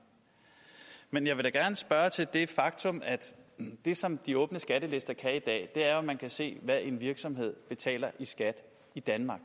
men jeg vil da gerne spørge til det faktum at det som de åbne skattelister kan i dag er at man kan se hvad en virksomhed betaler i skat i danmark